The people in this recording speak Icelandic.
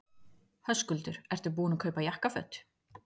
Höskuldur: Ertu búinn að kaupa jakkaföt?